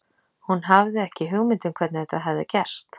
Hún hafði ekki hugmynd um hvernig þetta hafði gerst.